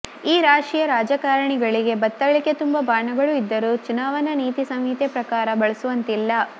ಈ ರಾಶಿಯ ರಾಜಕಾರಣಿಗಳಿಗೆ ಬತ್ತಳಿಕೆ ತುಂಬಾ ಬಾಣಗಳು ಇದ್ದರೂ ಚುನಾವಣಾ ನೀತಿ ಸಂಹಿತೆ ಪ್ರಕಾರ ಬಳಸುವಂತಿಲ್ಲ